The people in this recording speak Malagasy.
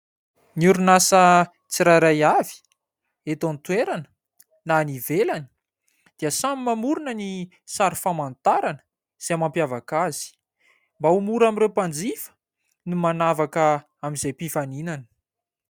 Ny orinasa tsirairay avy eto an-toerana, na any ivelany dia samy mamorona ny sary famantarana izay mampiavaka azy. Mba ho mora amin'ireo mpanjifa ny manavaka amin'izay mpifaninana.